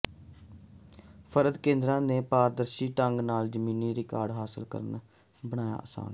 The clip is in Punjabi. ਫ਼ਰਦ ਕੇਂਦਰਾਂ ਨੇ ਪਾਰਦਰਸ਼ੀ ਢੰਗ ਨਾਲ ਜ਼ਮੀਨੀ ਰਿਕਾਰਡ ਹਾਸਲ ਕਰਨਾ ਬਣਾਇਆ ਆਸਾਨ